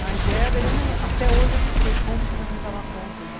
Mas era até hoje eu não sei como que minha mãe dava conta de...